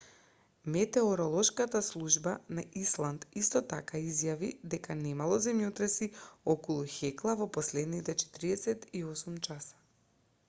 метеоролошката служба на исланд исто така изјави дека немало земјотреси околу хекла во последните 48 часа